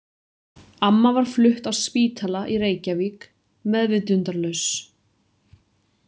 Amma var flutt á spítala í Reykjavík, meðvitundarlaus